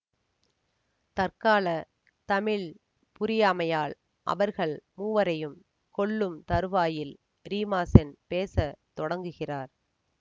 தற்கால தமிழ் புரியாமையால் அவர்கள் மூவரையும் கொல்லும் தறுவாயில் ரீமாசென் பேச தொடங்குகிறார்